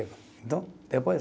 Então, depois.